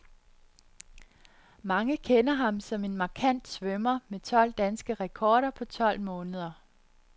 Mange kender ham som en markant svømmer med tolv danske rekorder på tolv måneder.